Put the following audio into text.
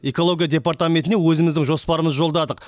экология департаментіне өзіміздің жоспарымызды жолдадық